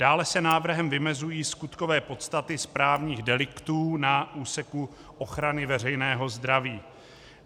Dále se návrhem vymezují skutkové podstaty správních deliktů na úseku ochrany veřejného zdraví.